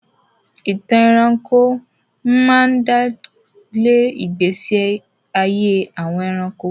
Ìtàn ẹranko máa ń dálé ìgbésí ayé àwọn ẹranko.